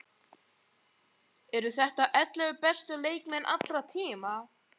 Eru þetta ellefu bestu leikmenn allra tíma?